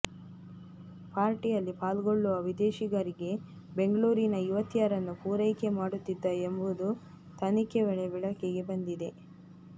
ಪಾರ್ಟಿಯಲ್ಲಿ ಪಾಲ್ಗೊಳ್ಳುವ ವಿದೇಶಿಗರಿಗೆ ಬೆಂಗಳೂರಿನ ಯುವತಿಯರನ್ನು ಪೂರೈಕೆ ಮಾಡುತ್ತಿದ್ದ ಎಂಬುದು ತನಿಖೆ ವೇಳೆ ಬೆಳಕಿಗೆ ಬಂದಿದೆ